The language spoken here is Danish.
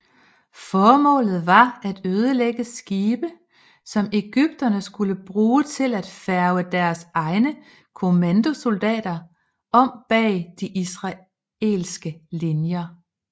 Formålet var at ødelægge skibe som egypterne skulle bruge til at færge deres egne kommandosoldater om bag de israelske linjer